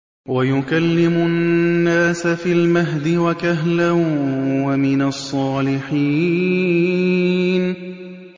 وَيُكَلِّمُ النَّاسَ فِي الْمَهْدِ وَكَهْلًا وَمِنَ الصَّالِحِينَ